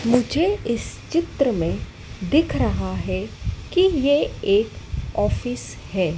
मुझे इस चित्र में दिख रहा है कि ये एक ऑफिस है।